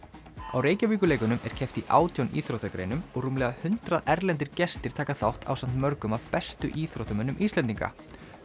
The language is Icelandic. á er keppt í átján íþróttagreinum og rúmlega hundrað erlendir gestir taka þátt ásamt mörgum af bestu íþróttamönnum Íslendinga